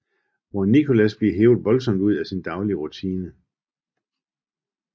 Hvor Nicholas bliver hevet voldsomt ud af sin daglige rutine